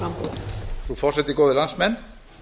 frú forseti góðir landsmenn